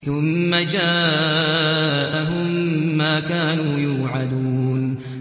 ثُمَّ جَاءَهُم مَّا كَانُوا يُوعَدُونَ